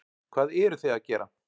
Hvað eruð þið að gera?